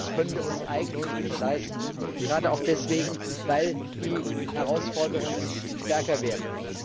Das können wir uns eigentlich nicht leisten, gerade auch deswegen, weil die Herausforderungen größer werden.